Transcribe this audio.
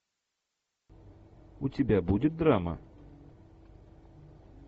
у тебя будет драма